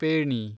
pheni